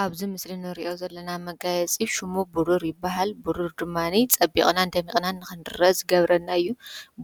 ኣብዝ ምስሊ ንርእዮ ዘለና መጋይ ጺፍ ሹሙ ብሩር ይበሃል ብሩር ድማኒ ጸቢቕናን ደሚቕናን ኽንድረ ዝገብረናዩ